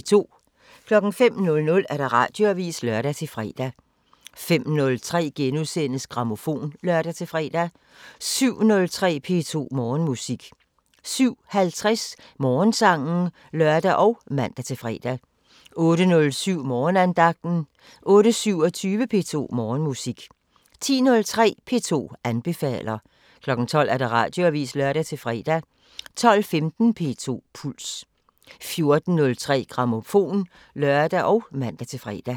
05:00: Radioavisen (lør-fre) 05:03: Grammofon *(lør-fre) 07:03: P2 Morgenmusik 07:50: Morgensangen (lør og man-fre) 08:07: Morgenandagten 08:27: P2 Morgenmusik 10:03: P2 anbefaler 12:00: Radioavisen (lør-fre) 12:15: P2 Puls 14:03: Grammofon (lør og man-fre)